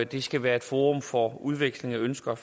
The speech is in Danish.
det skal være et forum for udveksling af ønsker og